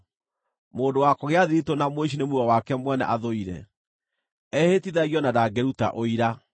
Mũndũ wa kũgĩa thiritũ na mũici nĩ muoyo wake mwene athũire; ehĩtithagio na ndangĩruta ũira.